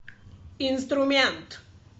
инструмент